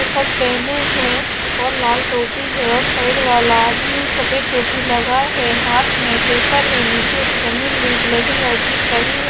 Shirt पहने है और लाल टोपी है और पैर वाला सफेद टोपी लगा है हाथ में पेपर है नीचे जमीन में ब्लैक एंड वाइट दिख रही।